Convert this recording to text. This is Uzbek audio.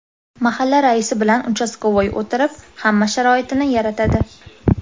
Mahalla raisi bilan ‘uchastkavoy’ o‘tirib, hamma sharoitini yaratadi.